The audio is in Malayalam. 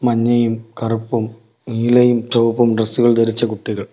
മഞ്ഞയും കറുപ്പും നീലയും ചുവപ്പും ഡ്രസ്സുകൾ ധരിച്ച കുട്ടികൾ.